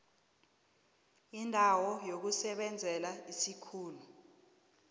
indawo yokusebenzela isikhulu